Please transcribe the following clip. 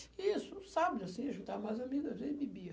Isso, sabe, assim, juntava mais amigos, assim bebia.